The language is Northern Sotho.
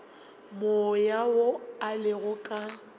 moya wo o lego ka